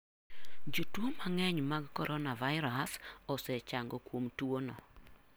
Jotuo mang'eny mag coronavirus osechango kuom tuwono.